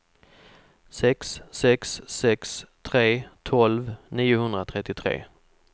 sex sex sex tre tolv niohundratrettiotre